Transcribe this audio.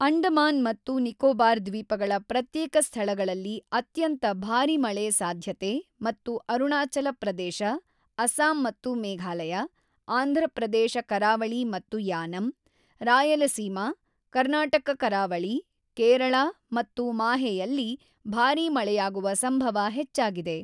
ಅಂಡಮಾನ್ ಮತ್ತು ನಿಕೋಬಾರ್ ದ್ವೀಪಗಳ ಪ್ರತ್ಯೇಕ ಸ್ಥಳಗಳಲ್ಲಿ ಅತ್ಯಂತ ಭಾರಿ ಮಳೆ ಸಾಧ್ಯತೆ ಮತ್ತು ಅರುಣಾಚಲ ಪ್ರದೇಶ, ಅಸ್ಸಾಂ ಮತ್ತು ಮೇಘಾಲಯ, ಆಂಧ್ರ ಪ್ರದೇಶ ಕರಾವಳಿ ಮತ್ತು ಯಾನಂ, ರಾಯಲಸೀಮ, ಕರ್ನಾಟಕ ಕರಾವಳಿ, ಕೇರಳ ಮತ್ತು ಮಾಹೆಯಲ್ಲಿ ಭಾರಿ ಮಳೆಯಾಗುವ ಸಂಭವ ಹೆಚ್ಚಾಗಿದೆ.